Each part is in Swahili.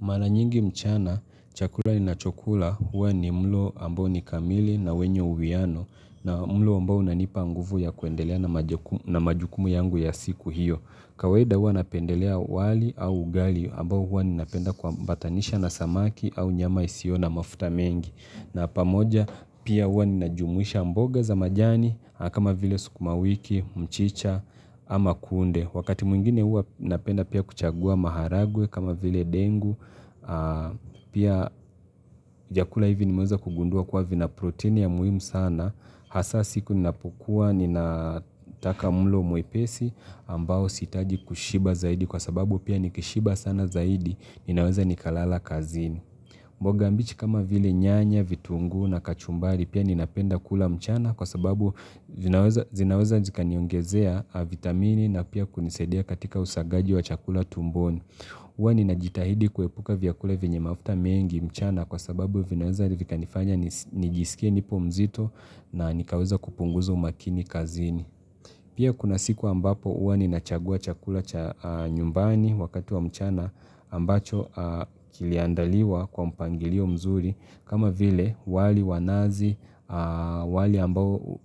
Maranyingi mchana, chakula ninachokula huwa ni mlo ambao ni kamili na wenye uwiano na mlo ambao unanipa nguvu ya kuendelea na majukumu yangu ya siku hiyo. Kawaida huwa napendelea wali au ugali ambao huwa ninapenda kuambatanisha na samaki au nyama isiyo na mafuta mengi. Na pamoja pia huwa ninajumuisha mboga za majani kama vile sukumawiki, mchicha ama kunde. Wakati mwingine huwa napenda pia kuchagua maharagwe kama vile dengu, pia chakula hivi nimeweza kugundua kwa vina protein ya muhimu sana, hasaa siku ninapokuwa ninataka mlo mwepesi ambao sihitaji kushiba zaidi kwa sababu pia nikishiba sana zaidi, ninaweza nikalala kazini. Mboga mbichi kama vile nyanya, vitungu na kachumbari pia ninapenda kula mchana kwa sababu zinaweza zikaniongezea vitamini na pia kunisaidia katika usagaji wa chakula tumboni. Huwa ninajitahidi kuepuka vyakula venye mafuta mengi mchana kwa sababu vinaweza vikanifanya nijisikia nipo mzito na nikaweza kupunguza umakini kazini. Pia kuna siku ambapo huwa ninachagua chakula cha nyumbani wakati wa mchana ambacho kiliandaliwa kwa mpangilio mzuri kama vile wali wa nazi wali ambao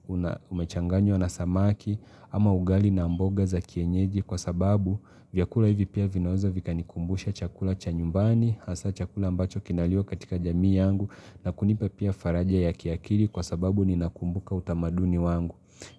umechanganywa na samaki ama ugali na mboga za kienyeji kwa sababu vyakula hivi pia vinaweza vikanikumbusha chakula cha nyumbani hasa chakula ambacho kinaliwa katika jamii yangu na kunipa pia faraja ya kiakili kwa sababu ninakumbuka utamaduni wangu.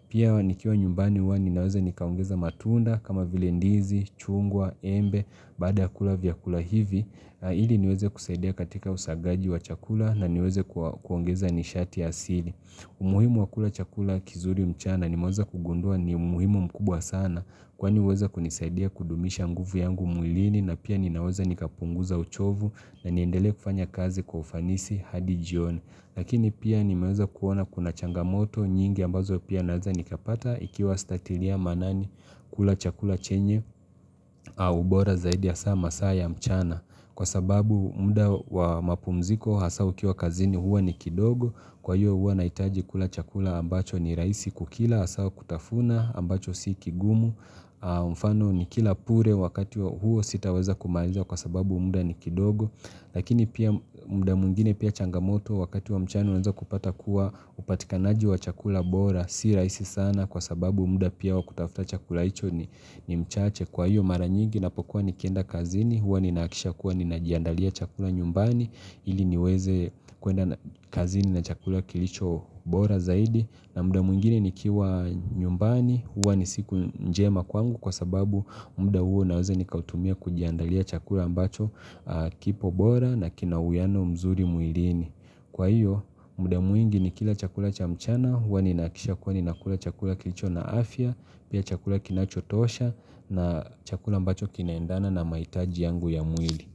Pia nikiwa nyumbani huwa ninaweza nikaongeza matunda kama vile ndizi, chungwa, embe, baada ya kula vyakula hivi, ili niweze kusaidia katika usagaji wa chakula na niweze kuongeza nishati asili. Umuhimu wa kula chakula kizuri mchana nimeweza kugundua ni umuhimu mkubwa sana kwani huweza kunisaidia kudumisha nguvu yangu mwilini na pia ninaweza nikapunguza uchovu na niendelee kufanya kazi kwa ufanisi hadi jioni. Lakini pia nimeweza kuona kuna changamoto nyingi ambazo pia naweza nikapata ikiwa sitatilia maanani kula chakula chenye au bora zaidi hasaa masaa ya mchana kwa sababu mda wa mapumziko hasa ukiwa kazini huwa ni kidogo kwa hiyo huwa nahitaji kula chakula ambacho ni rahisi kukila hasa kutafuna ambacho si kigumu mfano nikila pure wakati huo sitaweza kumaliza kwa sababu mda ni kidogo Lakini pia mda mwingine pia changamoto wakati wa mchana unaanza kupata kuwa upatikanaji wa chakula bora Si rahisi sana kwa sababu mda pia wa kutafuta chakula hicho ni mchache Kwa hiyo maranyigi ninapokuwa nikienda kazini huwa ninahakikisha kuwa ninajiandalia chakula nyumbani ili niweze kuenda kazini na chakula kilicho bora zaidi na mda mwingine nikiwa nyumbani huwa ni siku njema kwangu kwa sababu mda huo naweze nikautumia kujiandalia chakula ambacho kipo bora na kina uyano mzuri mwilini. Kwa hiyo, mda mwingi nikila chakula cha mchana Huwa ninahakikisha kuwa ninakula chakula kilicho na afya Pia chakula kinachotosha na chakula mbacho kinaendana na mahitaji yangu ya mwili.